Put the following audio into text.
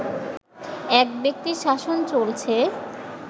এক ব্যক্তির শাসন চলছে